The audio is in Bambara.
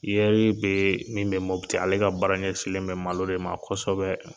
Iɛri be min mɔti ale ka baara ɲɛsinlen bɛ malo de ma kɔsɛbɛ